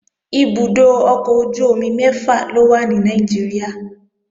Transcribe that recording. Ibùdó ọkọ̀ ojú-omi mẹ́fà ló wà ní Nàìjíríà